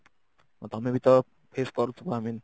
ତମେ ବି ତ face କରୁଥିବ I mean